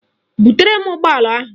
Butere m ụgbọala ahụ!